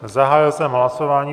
Zahájil jsem hlasování.